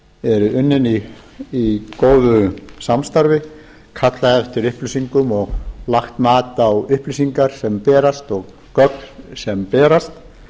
eru unnin í góðu samstarfi kallað eftir upplýsingum og lagt mat á upplýsingar sem berast og gögn sem berast